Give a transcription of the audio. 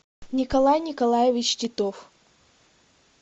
николай николаевич титов